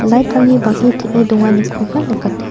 light-rangni bang·e teng·e donganikoba nikateng--